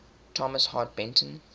thomas hart benton